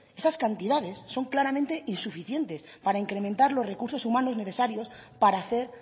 estas cantidades son claramente insuficientes para incrementar los recursos humanos necesarios para hacer